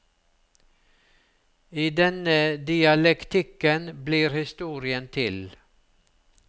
I denne dialektikken blir historien til.